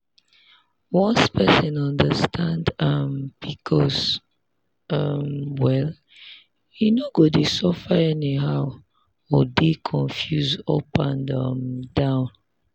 once person understand um pcos um well e no go dey suffer anyhow or dey confused up and um down.